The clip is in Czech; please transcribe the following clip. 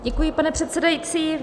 Děkuji, pane předsedající.